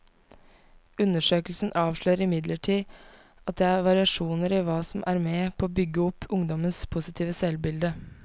Undersøkelsen avslører imidlertid at det er variasjoner i hva som er med på å bygge opp ungdommenes positive selvbilde.